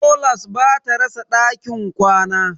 Tolas ba ta rasa ɗakin kwana.